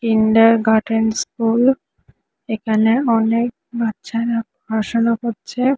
Kindergarten school এখানে অনেক বাচ্চারা পড়াশোনা করছে।